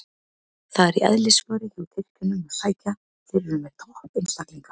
Það er í eðlisfari hjá Tyrkjunum að sækja, þeir eru með topp einstaklinga.